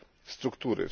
struktury.